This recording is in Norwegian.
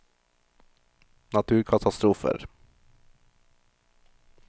naturkatastrofer